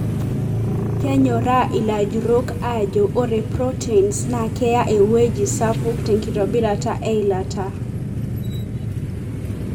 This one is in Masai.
kenyoraa ilajurok ajo ore proteins na keeya eweuji sapuk tenkitobirata eilata.